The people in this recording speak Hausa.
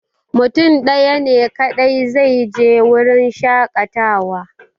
Mutum ɗaya ne kaɗai zai je wurin shaƙatawa